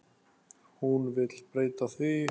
Hún vill breyta því.